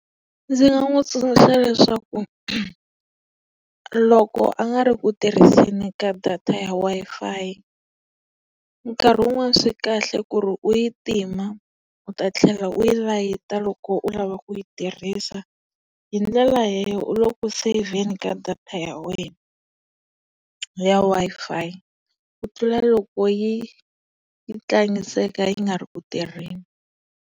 Ndzi nga n'wi tsundzuxa leswaku loko a nga ri ku tirhiseni ka data ya Wi-Fi, nkarhi wun'wani swi kahle ku ri u yi tima u ta tlhela uyi layita loko loko u lava ku yi tirhisa. Hi ndlela u le ku seyivheni ka data ya wena ya Wi-Fi. Ku tlula loko yi yi tlangiseka yi nga ri ku tirheni.